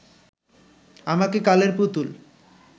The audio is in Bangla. আমাকে কালের পুতুল